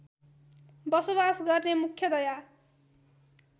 बसोबास गर्ने मुख्यतया